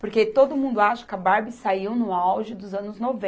Porque todo mundo acha que a Barbie saiu no auge dos anos